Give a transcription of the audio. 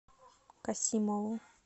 касимову